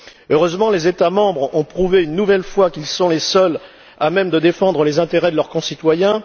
Heureusement, les États membres ont prouvé une nouvelle fois qu'ils sont les seuls à même de défendre les intérêts de leurs concitoyens.